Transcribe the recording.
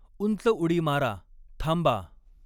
उंचउडी मारा, थांबा!